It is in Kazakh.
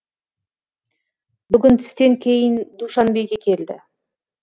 бүгін түстен кейін душанбеге келді